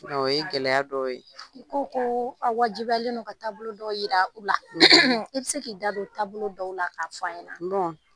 O ye gɛlɛya dɔw , ko ko aw wajibilen don ka taabolo dɔw jira u la, i bɛ se k'i da don taabolo dɔw la k'a fɔ an ɲɛna